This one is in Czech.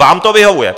Vám to vyhovuje!